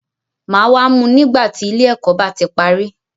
Màá wá mú u nígbà tí ilé ẹ̀kọ́ bá ti parí.